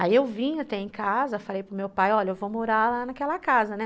Aí eu vim até em casa, falei para o meu pai, olha, eu vou morar lá naquela casa, né?